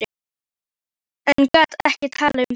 En gat ekki talað um það.